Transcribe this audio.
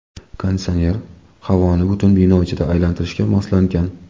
Konditsioner havoni butun bino ichida aylantirishga moslangan.